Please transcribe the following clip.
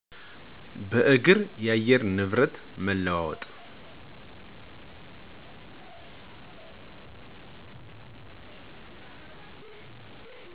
በእግር , የአየር ንብረት መለዋወጥ